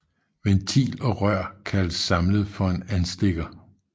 Ventil og rør kaldes samlet for en anstikker